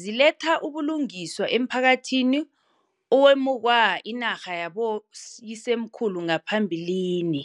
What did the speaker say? ziletha ubulungiswa emphakathini owemukwa inarha yaboyi semkhulu ngaphambilini.